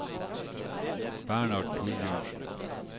Bernhard Thorbjørnsen